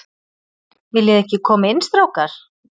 Viljiði ekki koma inn, strákar?